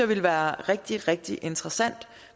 ville være rigtig rigtig interessant